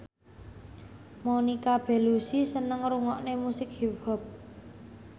Monica Belluci seneng ngrungokne musik hip hop